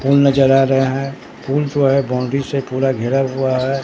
फूल नजर आ रहे हैं फूल जो है बाउंड्री से पूरा घेरा हुआ है।